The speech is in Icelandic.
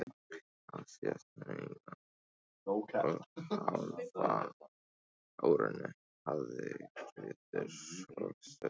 Á síðasta eina og hálfa árinu hafði Grettir að sögn